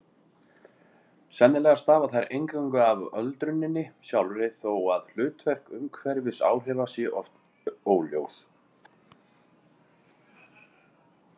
Sennilega stafa þær eingöngu af öldruninni sjálfri þó að hlutverk umhverfisáhrifa sé oft óljóst.